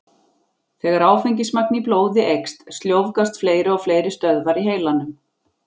Þegar áfengismagn í blóði eykst, sljóvgast fleiri og fleiri stöðvar í heilanum.